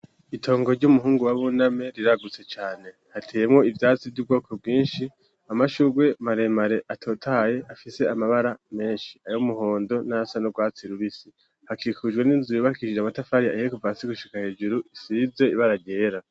Itongo ry'umuhungu wa buname riragutse cane hateyemwo ivyatsi vy'ubwoko bwinshi amashurwe maremare atotaye afise amabara menshi ayo umuhondo n'asa no rwatsi rubisi hakikaujwe n'inzubibakisije amatafarie ayihekupa si gushika hejuru isize iba aragera.